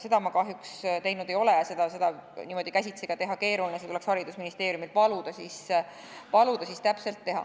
Seda ma kahjuks teinud ei ole ja seda on niimoodi käsitsi ka keeruline teha, seda tuleks paluda teha haridusministeeriumil.